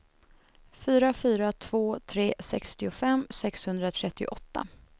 fyra fyra två tre sextiofem sexhundratrettioåtta